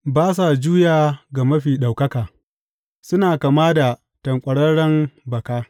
Ba sa juya ga Mafi Ɗaukaka; suna kama da tanƙwararren baka.